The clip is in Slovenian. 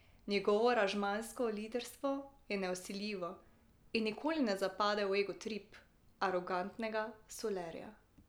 Njegovo aranžmajsko liderstvo je nevsiljivo in nikoli ne zapade v egotrip arogantnega solerja.